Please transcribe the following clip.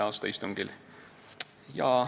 a istungil.